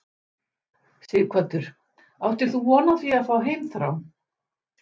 Sighvatur: Áttir þú von á því að fá heimþrá?